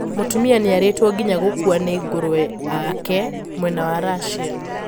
Mũtumia niaritwo nginya gukûa nii ngũrũwe aake mwena wa Russia.